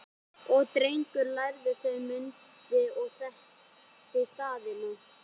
Og Drengur lærði þau og mundi og þekkti staðina